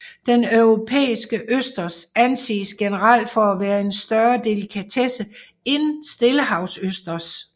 Den europæiske østers anses generelt for at være en større delikatesse end stillehavsøsters